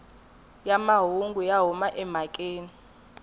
ya mahungu ya huma emhakeni